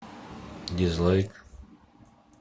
дизлайк